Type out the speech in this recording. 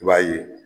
I b'a ye